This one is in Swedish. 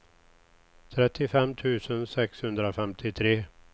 trettiofem tusen sexhundrafemtiotre